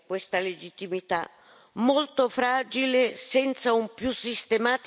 molto fragile senza un più sistematico riferimento alla Carta.